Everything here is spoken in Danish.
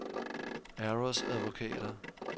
Aros Advokater